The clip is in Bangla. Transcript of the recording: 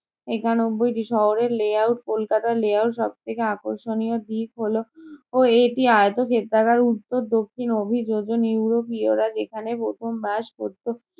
একানব্বইটি। শহরের layout - কলকাতার layout সবথেকে আকর্ষণীয় দিক হলো এটি আয়তক্ষেত্রাকার, উত্তর -দক্ষিণ অভিযোজন ইউরোপীয়রা যেখানে প্রথম বাস করতো।